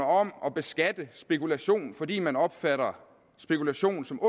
om at beskatte spekulationen fordi man opfatter spekulationen som